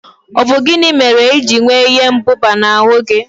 Ọ bụ gịnị mere ijiri nwee ihe mbụba na ahụ gị?